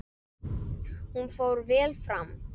Hún fór vel fram.